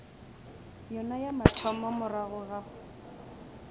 yona ya mathomo morago ga